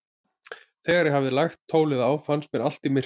Þegar ég hafði lagt tólið á, fannst mér allt í myrkri.